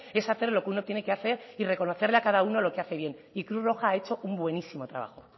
es hacerlo que uno tiene que hacer y reconocerle a cada uno lo que hace bien y cruz roja ha hecho un buenísimo trabajo